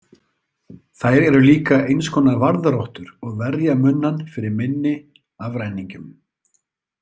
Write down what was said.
Þær eru líka eins konar varðrottur og verja munnann fyrir minni afræningjum.